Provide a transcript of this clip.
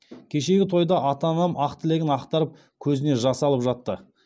кешегі тойда ата анам ақ тілегін ақтарып көзіне жас алып жатты